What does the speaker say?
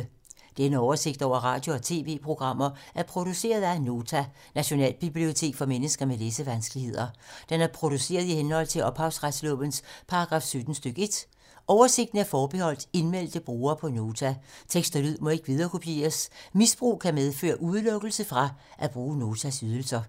Denne oversigt over radio og TV-programmer er produceret af Nota, Nationalbibliotek for mennesker med læsevanskeligheder. Den er produceret i henhold til ophavsretslovens paragraf 17 stk. 1. Oversigten er forbeholdt indmeldte brugere på Nota. Tekst og lyd må ikke viderekopieres. Misbrug kan medføre udelukkelse fra at bruge Notas ydelser.